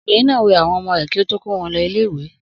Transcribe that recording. Obìnrin náà wẹ àwọn ọmọ rẹ̀ kí ó tó kó wọn ilé-ìwé.